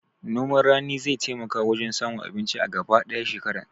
Noman rani zai taimaka wajen samun abinci a gaba ɗaya shekarar